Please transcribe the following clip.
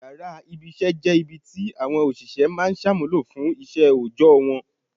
Yàrá ibi-iṣẹ́ jẹ́ ibi ti àwọn òṣìṣẹ́ máa ń ṣàmúlò fún iṣẹ́ òòjọ́ wọn.